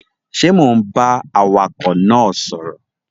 Ṣe Mọ ń bá awakọ náà sọrọ?